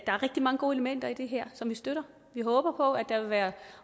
er rigtig mange gode elementer i det her som vi støtter vi håber på at der vil være